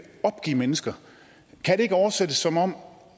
opgive mennesker kan det ikke oversættes som om